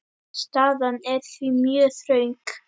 Staðan er því mjög þröng.